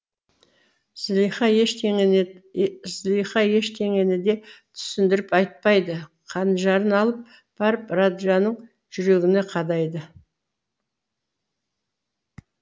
зылиха ештеңені де түсіндіріп айтпайды қанжарын алып барып раджаның жүрегіне қадайды